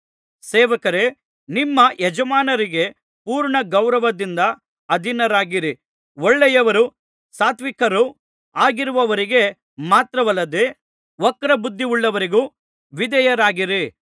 ಸೇವಕರೇ ನಿಮ್ಮ ಯಜಮಾನರಿಗೆ ಪೂರ್ಣ ಗೌರವದಿಂದ ಅಧೀನರಾಗಿರಿ ಒಳ್ಳೆಯವರೂ ಸಾತ್ವಿಕರೂ ಆಗಿರುವವರಿಗೆ ಮಾತ್ರವಲ್ಲದೆ ವಕ್ರಬುದ್ಧಿಯುಳ್ಳವರಿಗೂ ವಿಧೇಯರಾಗಿರಿ